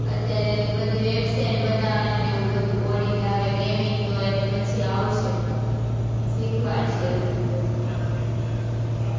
અત્યારે બધી website બનાવવાની અને એવું બધું coding આવે, gaming તો એની પછી આવશે, શીખવાડશે હજુ તો